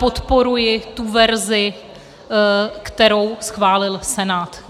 Podporuji tu verzi, kterou schválil Senát.